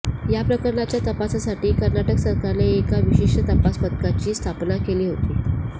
या प्रकरणाच्या तपासासाठी कर्नाटक सरकारने एका विशेष तपास पथकाची स्थापना केली होती